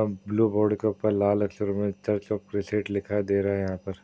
अ blue board के ऊपर लाल अक्षरों में चर्च ऑफ़ लिखा दिखाई दे रहा है यहां पर।